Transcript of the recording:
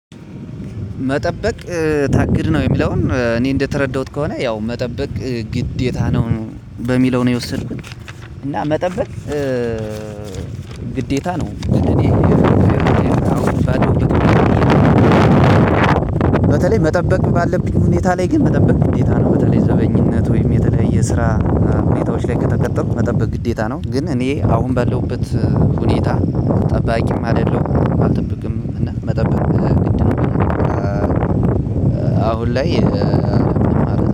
መጠበቅ ታግድ ነው የሚለውን እኔ እንደተረዳሁት ከሆነ ያው መጠበቅ ግዴታ ነው በሚለው ነው የወሰደኩት። እና መጠበቅ ግዴታ ነው። እኔ በተለይ መጠበቅ ባለብኝ ሁኔታ ላይ ግን መጠበቅ ግዴታ ነው በተለይ ዘበኝነት ወይም የተለየ የስራ ግዴታዎች ላይ ከተቀጠርኩ መጠበቅ ግዴታ ነው። ግን እኔ አሁን በለውበት ሁኔታ ጠባቂም አይደለሁም አልጠብቅም። እና መጠብቅ አሁን ላይ